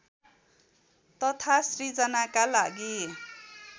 तथा सिर्जनाका लागि